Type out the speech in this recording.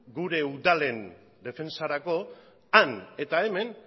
gure udalen defentsarako han eta hemen